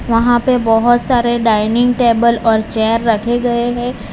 यहां पे बहुत सारे डाइनिंग टेबल और चेयर रखे गए है।